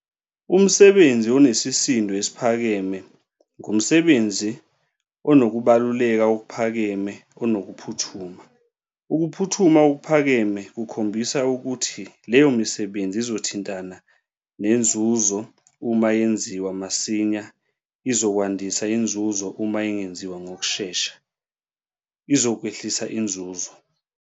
Umsebenzi onesesisindo esiphakeme ngumsebenzi unokubaluleka okuphakeme onokuphuthuma. Ukuphuthuma okuphakeme kukhombisa ukuthi leyo misebenzi izothintana nezuzo - uma yenziwa masinya izpkwandisa inzuzo - uma ingenziwa ngokushesha izokwehlisa inzuzo.